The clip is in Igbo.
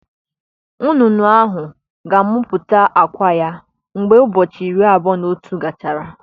Nnụnụ ahụ ga-amụpụta àkwá ya mgbe ụbọchị iri abụọ na otu gachara.